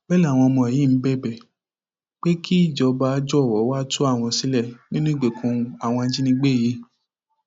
bẹẹ làwọn ọmọ yìí ń bẹbẹ pé kí ìjọba jọwọ wàá tú àwọn sílẹ ní ìgbèkùn àwọn ajínigbé yìí